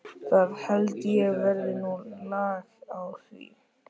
Það held ég verði nú lag á því.